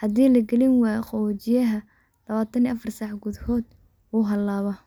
hadii la gelini waayo qaboojiyaha labaatab iyo afar saac godahood uu halaabaa.